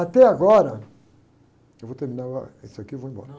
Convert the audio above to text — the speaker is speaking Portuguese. Até agora, eu vou terminar uh, ah, isso aqui e vou embora.